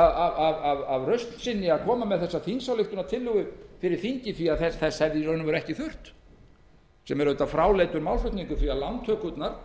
af rausn sinni að koma með þessa þingsályktunartillögu fyrir þingið því að þess hefði í raun og veru ekki þurft það er auðvitað fráleitur málflutningur því að lántökurnar